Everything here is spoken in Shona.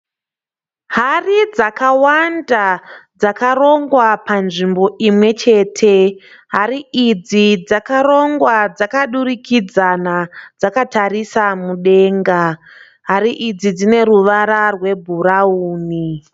Hari dzakawanda dzakarongwa panzvimbo imwechete. Hari idzi dzakarongwa dzakaturikidzana dzakatarira mudenga. Hari idzi dzine ruvara rwebhurauni.